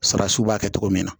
Sarasiw b'a kɛ cogo min na